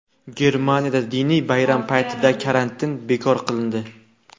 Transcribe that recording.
Germaniyada diniy bayram paytidagi karantin bekor qilindi.